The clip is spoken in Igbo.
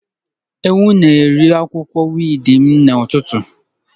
Ewu na-eri akwụkwọ wiidi m n'ụtụtụ.